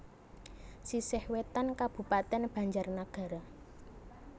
Sisih Wetan Kabupatèn BanjarNagara